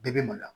Bɛɛ bɛ maloya